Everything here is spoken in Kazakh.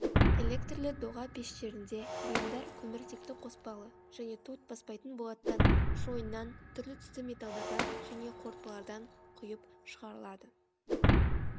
электрлі доға пештерінде бұйымдар көміртекті қоспалы және тот баспайтын болаттан шойыннан түрлі түсті металдардан және қорытпалардан құйып шығарылады